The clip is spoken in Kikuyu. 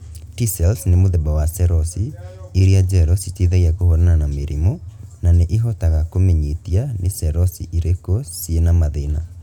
T-cells ni mũthemba wa ceroci iria njerũ citeithagia kũhũrana na mĩrimũ na nĩ ihotaga kumenyitia nĩ ceroci irĩkũ ciĩna mathĩna